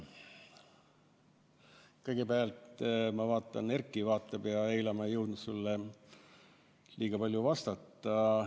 Kõigepealt, ma vaatan, et Erki vaatab siiapoole, eile ma ei jõudnud sulle liiga palju vastata.